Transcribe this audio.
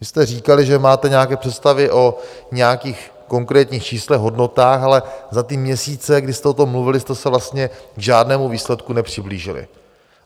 Vy jste říkali, že máte nějaké představy o nějakých konkrétních číslech, hodnotách, ale za ty měsíce, kdy jste o tom mluvili, jste se vlastně k žádnému výsledku nepřiblížili.